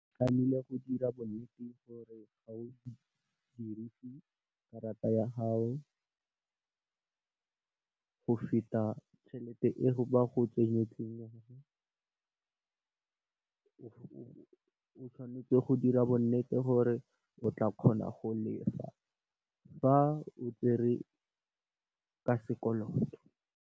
Tlameile go dira bonnete ba gore ga o dirise karata ya gago go feta tšhelete e ba go tsenyeditseng yona, o tshwanetse go dira bonnete gore o tla kgona go lefa, ga o tsere ka sekoloto.